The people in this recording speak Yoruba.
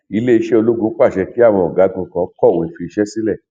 iléeṣẹ ológun pàṣẹ kí àwọn ọgágun kan kọwé fi iṣẹ sílẹ